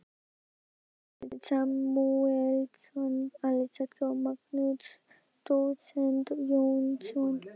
Samúelsson, Alexander og Magnús dósent Jónsson.